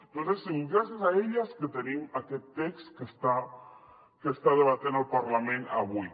tot ha sigut gràcies a elles que tenim aquest text que està debatent el parlament avui